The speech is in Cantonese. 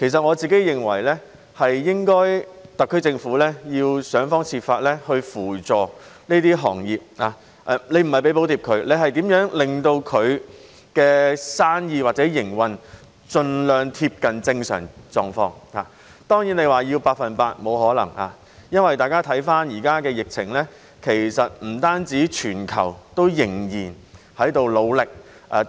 我認為特區政府應該要想方設法扶助這些行業，不是只為它們提供補貼，而是令到它們的生意或營運盡量貼近正常狀況，而要求百分之一百回復疫情前的狀況，當然是沒有可能的。